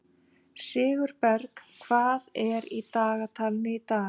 Sigurberg, hvað er í dagatalinu í dag?